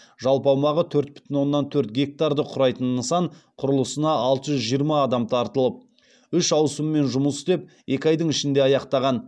жалпы аумағы төрт бүтін оннан төрт гектарды құрайтын нысан құрылысына алты жүз жиырма адам тартылып үш ауысыммен жұмыс істеп екі айдың ішінде аяқтаған